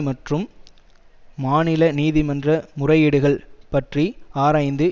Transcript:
மற்றும் மாநில நீதிமன்ற முறையீடுகள் பற்றி ஆராய்ந்து